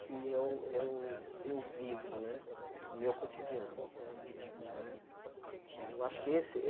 que eu eu eu vivo né, o meu cotidiano. Não é eh eu acho que esse